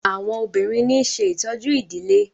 àwọn obìrin ní ṣe ìtọjú idilé.